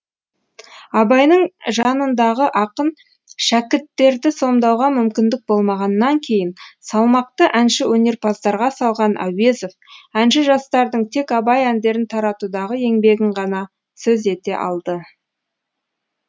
абайдың жанындағы ақын шәкірттерді сомдауға мүмкіндік болмағаннан кейін салмақты әнші өнерпаздарға салған әуезов әнші жастардың тек абай әндерін таратудағы еңбегін ғана сөз ете алды